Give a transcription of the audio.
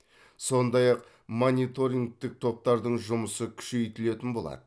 сондай ақ мониторингтік топтардың жұмысы күшейтілетін болады